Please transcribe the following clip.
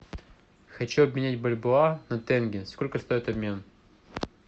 хочу обменять бальбоа на тенге сколько стоит обмен